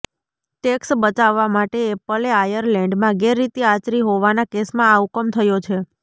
tax બચાવવા માટે એપલે આયર્લેન્ડમાં ગેરરીતિ આચરી હોવાના કેસમાં આ હુકમ થયો છે